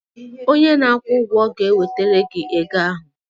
onye na-akwụ ụgwọ ga-ewetara gị ego ahụ